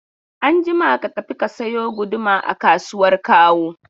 Anjima ka tafi ka sayo guduma a kasuwar Kawo!